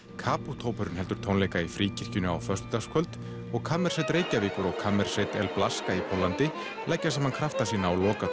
Caput hópurinn heldur tónleika í Fríkirkjunni á föstudagskvöld og kammersveit Reykjavíkur og kammersveit í Póllandi leggja saman krafta sína á